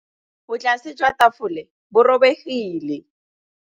Botlasê jwa tafole bo robegile.